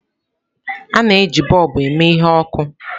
A na-eji bọlbu eme ihe ọkụ.